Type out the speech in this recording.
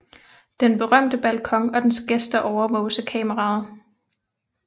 Den berømte balkon og dens gæster overvåges af kameraet